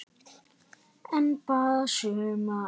En bara sumra.